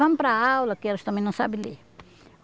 Vamos para aula, que elas também não sabem ler.